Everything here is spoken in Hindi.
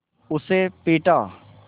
उसे पीटा